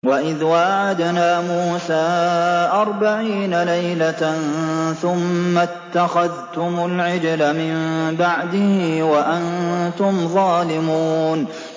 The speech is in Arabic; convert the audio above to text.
وَإِذْ وَاعَدْنَا مُوسَىٰ أَرْبَعِينَ لَيْلَةً ثُمَّ اتَّخَذْتُمُ الْعِجْلَ مِن بَعْدِهِ وَأَنتُمْ ظَالِمُونَ